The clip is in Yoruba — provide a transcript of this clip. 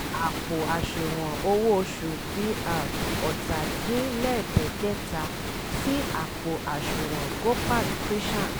àpò àṣùwọ̀n owó oṣù dr ọ̀tàdínlẹ́dẹ̀gbẹ́ta sí àpò àṣùwọn gopal krishan